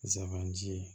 Zabanti